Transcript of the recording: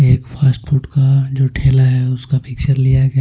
एक fast food का जो ठेला है उसका पिक्चर .